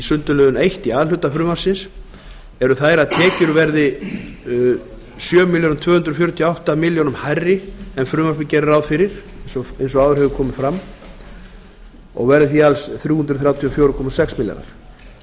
sundurliðun eitt í a hluta frumvarpsins eru þær að tekjur verði sjö þúsund tvö hundruð fjörutíu og átta komma tveimur milljónum króna hærri en frumvarpið gerir ráð fyrir og verði því alls þrjú hundruð þrjátíu og fjögur komma sex milljarðar